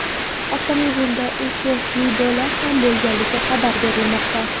Avtomobilda uch yoshli bola ham bo‘lganligi xabar berilmoqda.